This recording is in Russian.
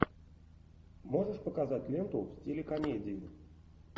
можешь показать ленту в стиле комедии